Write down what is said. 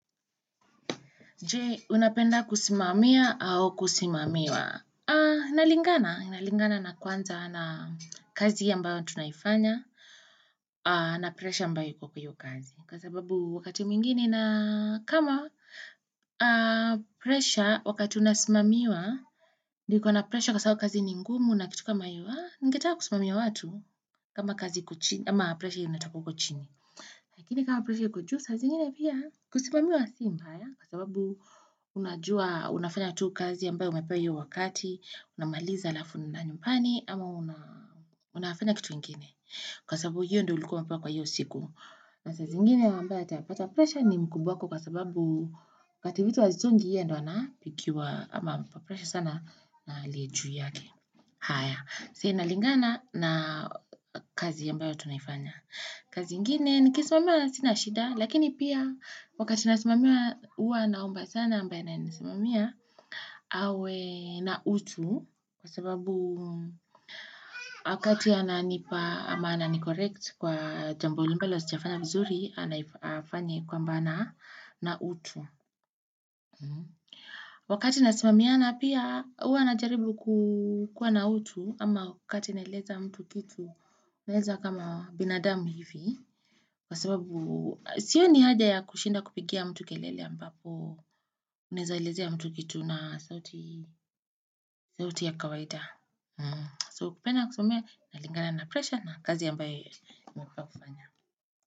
Je? Unapenda kusimamia au kusimamiwa? Aaaaaaa na lingana, na lingana na kwanza na kazi ambayo tunafanya, na aaa presha ambayo iko hiyo kazi. Kwa sababu wakati mwengine naaa kama aaaaaaaa presha wakati unasimamiwa, iko na presha kwa sababu kazi ni ngumu, nakitu kama aaaa, ningetaka kusimamia watu. Kama kazi iko chini ama presha inatoka huko chini. Lakini kama presha iko juu saa, zingine pia kusimamiwa si mbaya, kwa sababu unajua, unafanya tu kazi ambayo umepewa iyo wakati, unamaliza halafu unaenda nyumbani, ama unafanya kitu ingine, kwa sababu hiyo ndo ulikuwa umepewa kwa hiyo siku, na saa zingine ambayo atapata presha ni mkubwa wako kwa sababuu wakati vitu havisongi yeye ndo anafikiwa, ama presha sana na aliye juu yake, haya saa inaligana na kazi ambayo tunaifanya kazi ingine nikisomewa sina shida Lakini pia wakati nasimamiwa huwa naomba sana ambae ananinisimamia awe na utu Kwa sababu aaa wakati ananipa ama anani correct kwa jambo ambalo sijafanya vizuri anai aaaa aifanye kwamba na utu Wakati nasimamiana pia huwa najaribu ku kua na utu ama wakati naeleza mtu kitu naeleza kama binadamu hivi kwa sababu sioni haja ya kushinda kupigia mtu kelele ambapo unaeza elezea mtu kitu na sauti sauti ya kawaida mmmmmm so kupenda kusomea na lingana na presha na kazi ambayo unafaa kufanya.